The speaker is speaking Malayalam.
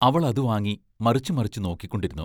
അവൾ അതു വാങ്ങി മറിച്ചു മറിച്ചു നോക്കിക്കൊണ്ടിരുന്നു.